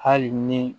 Hali ni